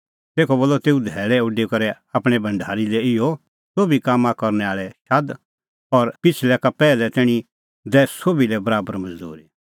तेखअ बोलअ तेऊ धैल़अ उडी करै आपणैं भढारी लै इहअ सोभी कामां करनै आल़ै शाद और पिछ़लै का पैहलै तैणीं दैऐ सोभी लै बराबर मज़दूरी